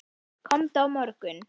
Komdu á morgun.